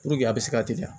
Puruke a bɛ se ka teliya